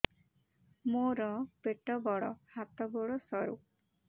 ମୋର ପେଟ ବଡ ହାତ ଗୋଡ ସରୁ